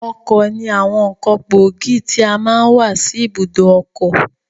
Ọkọ̀ ní àwọn ǹkan gbóògì tí a máa n wà sí ibùdó ọkọ̀.